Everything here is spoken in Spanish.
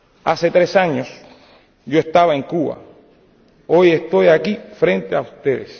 Hace tres años yo estaba en Cuba, hoy estoy aquí ante ustedes.